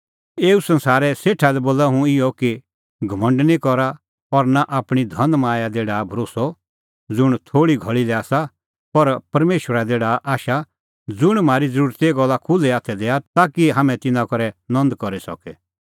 एऊ संसारे सेठा लै बोल इहअ कि घमंड निं करा और नां आपणीं धनमाया दी डाहा भरोस्सअ ज़ुंण थोल़ी घल़ी लै आसा पर परमेशरा दी डाहा आशा ज़ुंण म्हारी ज़रूरतीए सोभै गल्ला खुल्है हाथै दैआ ताकि हाम्हैं तिन्नां करै नंद करी सके